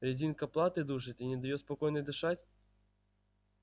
резинка платы душит и не даёт спокойно дышать